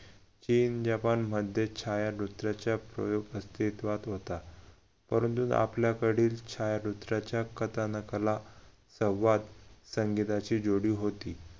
चीन जपानमध्ये छायामुद्राचे प्रयोग अस्तित्वात होता परंतु आपल्याकडील छायामुद्राच्या कथानकाला संवाद संगीताची जोडी होती.